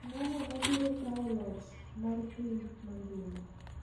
Ng'ano mabirokawo loch mar piny mangima?